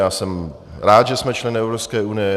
Já jsem rád, že jsme členy Evropské unie.